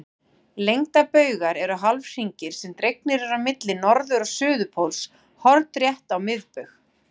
Lengdarbaugar eru hálfhringir sem dregnir eru á milli norður- og suðurpóls hornrétt á miðbaug.